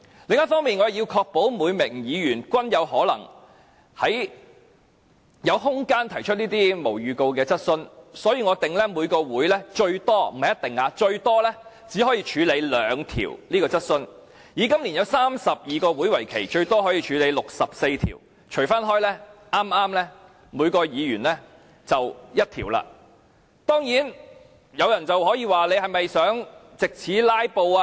另一方面，我也要確保每名議員均有可能有空間提出這類無經預告的質詢，所以我訂明每個會議最多只可以處理兩項急切質詢，以今年32個會期為例，最多可以處理64項急切質詢，平均計算每一位議員可提出一項。